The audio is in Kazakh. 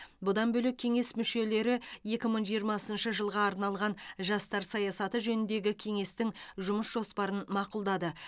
бұдан бөлек кеңес мүшелері екі мың жиырмасыншы жылға арналған жастар саясаты жөніндегі кеңестің жұмыс жоспарын мақұлдады